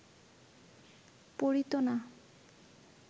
পড়িত না